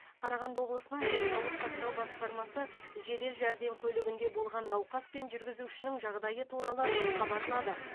қарағанды облысының денсаулық сақтау басқармасы жедел жәрдем көлігінде болған науқас пен жүргізушінің жағдайы туралы хабарлады